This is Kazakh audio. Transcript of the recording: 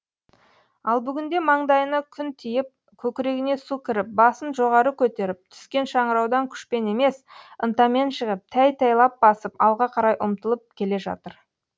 ал бүгінде маңдайына күн тиіп көкірегіне су кіріп басын жоғары көтеріп түскен шыңыраудан күшпен емес ынтамен шығып тәй тәйлап басып алға қарай ұмтылып келе жатыр